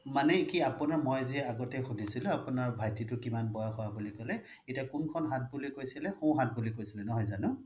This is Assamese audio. মানে কি আপোনাৰ মই যি আগতে সুধিছিল আপোনাৰ ভাইটী টো কিমান বয়স হয় আপুনি কলে এতিয়া কোঁনখন হাত বুলি কৈছিলে সোহাত নহয় জানো